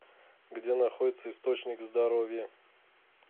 где находится источник здоровья